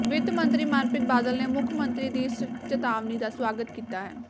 ਵਿੱਤ ਮੰਤਰੀ ਮਨਪ੍ਰੀਤ ਬਾਦਲ ਨੇ ਮੁੱਖ ਮੰਤਰੀ ਦੀ ਇਸ ਚੇਤਾਵਨੀ ਦਾ ਸਵਾਗਤ ਕੀਤਾ ਹੈ